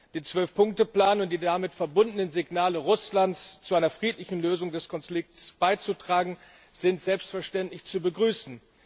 Den Zwölf Punkte Plan und die damit verbundenen Signale Russlands, zu einer friedlichen Lösung des Konflikts beizutragen, sind selbstverständlich zu begrüßen.